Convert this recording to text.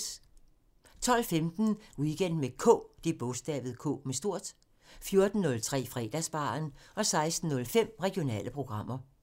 12:15: Weekend med K 14:03: Fredagsbaren 16:05: Regionale programmer